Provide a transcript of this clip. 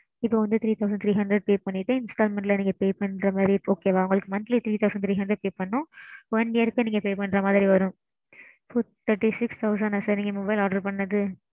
ok mam